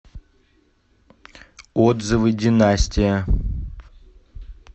отзывы династия